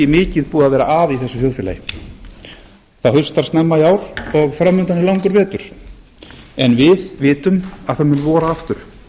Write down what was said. mikið búið að vera að í þessu þjóðfélagi það haustar snemma í ár og fram undan er langur vetur en við vitum að það mun vora aftur